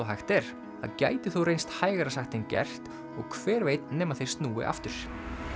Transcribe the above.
hægt er það gæti þó reynst hægara sagt en gert og hver veit nema þeir snúi aftur